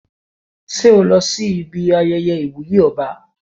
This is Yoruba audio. Ṣé o lọ ibi ayẹyẹ ìwúyè ọba?